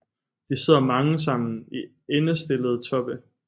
De sidder mange sammen i endestillede toppe